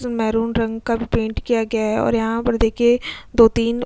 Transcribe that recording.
maroon रंग का paint किया गया है और यहां पर देखिए दोतीन --